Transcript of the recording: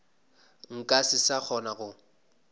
nka se sa kgona go